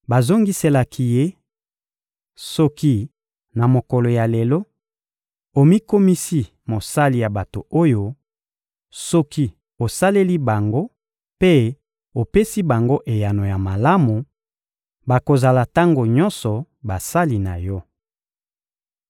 Bazongiselaki ye: — Soki, na mokolo ya lelo, omikomisi mosali ya bato oyo, soki osaleli bango mpe opesi bango eyano ya malamu, bakozala tango nyonso basali na yo.